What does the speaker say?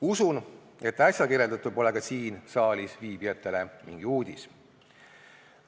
Usun, et äsja kirjeldatu pole ka siin saalis viibijatele mingi uudis.